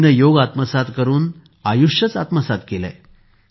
अन्वीने योग आत्मसात करून आयुष्य आत्मसात केले आहे